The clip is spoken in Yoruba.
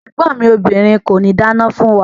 Ẹ̀gbọ́n mi obìrin kòní dáná fún wa.